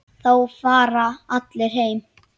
Þá fara allir heim.